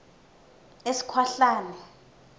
esikhwahlane